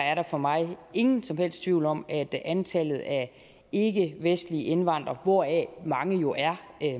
er der for mig ingen som helst tvivl om at antallet af ikkevestlige indvandrere hvoraf mange jo er